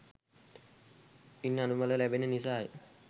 ඉන් අනුබල ලබෙන නිසාය.